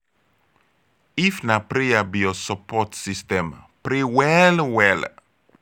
if na prayer be yur sopport system pray well well